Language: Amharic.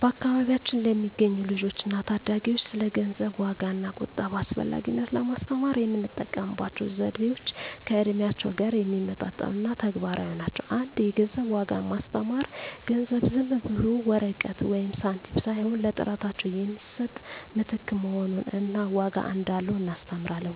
በአካባቢያችን ለሚገኙ ልጆች እና ታዳጊዎች ስለ ገንዘብ ዋጋ እና ቁጠባ አስፈላጊነት ለማስተማር የምንጠቀምባቸው ዘዴዎች ከእድሜያቸው ጋር የሚመጣጠኑ እና ተግባራዊ ናቸው። 1) የገንዘብ ዋጋን ማስተማር ገንዘብ ዝም ብሎ ወረቀት ወይም ሳንቲም ሳይሆን ለጥረታቸው የሚሰጥ ምትክ መሆኑን እና ዋጋ እንዳለው እናስተምራለን።